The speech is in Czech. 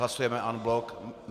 Hlasujeme en bloc.